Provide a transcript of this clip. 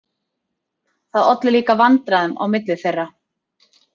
Það olli líka vandræðum á milli þeirra.